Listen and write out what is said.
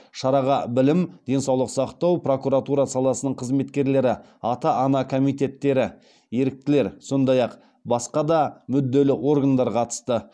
шараға білім денсаулық сақтау прокуратура саласының қызметкерлері ата ана комитеттері еріктілер сондай ақ басқа да мүдделі органдар қатысты